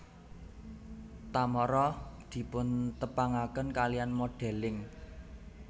Tamara dipuntepangaken kaliyan modelling